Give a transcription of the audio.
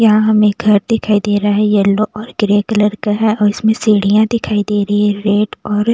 यहाँ हमें घर दिखाई दे रहा है येलो और ग्रे कलर का है और इसमें सीढ़ियाँ दिखाई दे रही है रेड और --